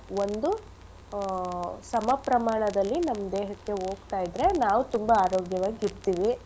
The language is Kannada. ಒಂದು ಆಹ್ ಸಮ ಪ್ರಮಾಣದಲ್ಲಿ ನಮ್ಮ್ ದೇಹಕ್ಕೆ ಓಗ್ತಾ ಇದ್ರೆ ನಾವ್ ತುಂಬಾ ಆರೋಗ್ಯವಾಗ್ ಇರ್ತಿವಿ.